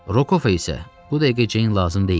Rokova isə bu dəqiqə Ceyn lazım deyildi.